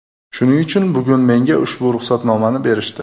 Shuning uchun bugun menga ushbu ruxsatnomani berishdi.